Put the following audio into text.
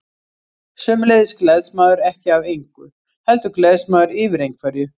Sömuleiðis gleðst maður ekki af engu, heldur gleðst maður yfir einhverju.